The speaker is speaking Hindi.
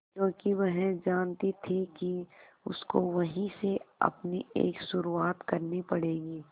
क्योंकि वह जानती थी कि उसको वहीं से अपनी एक शुरुआत करनी पड़ेगी